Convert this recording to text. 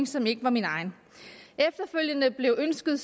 som ikke var mit eget efterfølgende blev ønsket